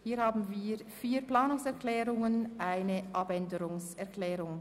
Hierzu haben wir vier Planungserklärungen und einen Abänderungsantrag.